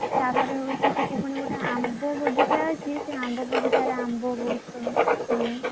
ତା ପରେ ହଉଛି ସେଠି ଗୋଟେ ହଉଛି ଆମ୍ବ ବଗିଚା ଅଛି ସେ ଆମ୍ବ ବଗିଚାରେ ଆମ୍ବ ବହୁତ ହୁଏ।